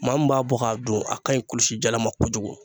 Maa min b'a bɔ k'a dun a ka ɲi kulusijala ma kojugu.